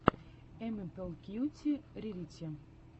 эмэлпи кьюти рэрити